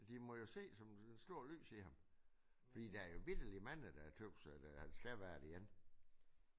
De må jo se et stort lys i ham fordi der jo vitterligt mange der tøs at han skal være det igen